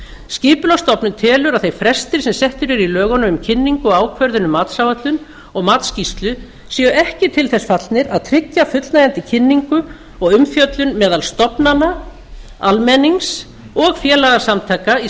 skipulagsstofnun telur að þeir frestir sem settir eru í lögunum um kynningu og ákvörðun um matsáætlun og matsskýrslu séu ekki til þess fallnir að tryggja fullnægjandi kynningu og umfjöllun meðal stofnana almennings og félagasamtaka í